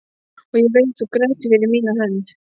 Og ég veit þú grætur fyrir mína hönd.